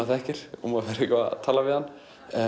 þekkir og maður fer eitthvað að tala við hann